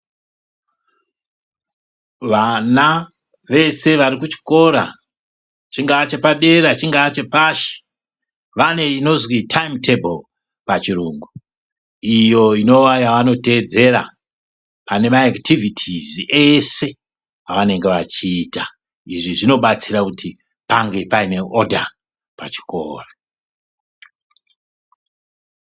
Vana vese vari kuchikora chingaa chepadera , chingaa chepashi, vane inozwi taimu tebhuru pachirungu iyo inova yavanoteedzera pane ekitivhitizi ese avanenge vachiita. Izvi zvinobatsira kuti pange paine odha pachikora.